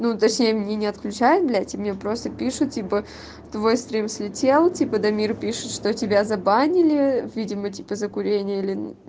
ну точнее мне не отключает блять и мне просто пишу тебе твой стрим слетел типа дамир пишет что тебя забанили видимо типа за курение или